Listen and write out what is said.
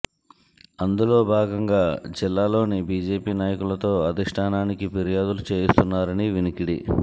అందులో భాగంగా జిల్లాల్లోని బీజేపీ నాయకులతో అధిష్ఠానికి ఫిర్యాదులు చేయిస్తున్నారని వినికిడి